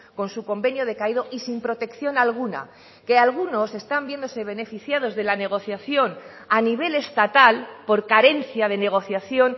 con su convenio decaído y sin protección alguna que algunos están viéndose beneficiados de la negociación a nivel estatal por carencia de negociación